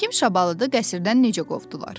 Həkim Şabalını qəsrdən necə qovdular?